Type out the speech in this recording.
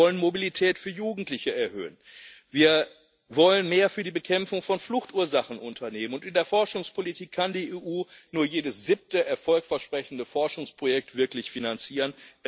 Wir wollen Mobilität für Jugendliche erhöhen, wir wollen mehr für die Bekämpfung von Fluchtursachen unternehmen, und in der Forschungspolitik kann die EU nur jedes siebte erfolgversprechende Forschungsprojekt wirklich finanzieren.